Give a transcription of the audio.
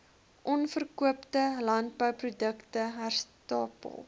onverkoopte landbouprodukte herstapel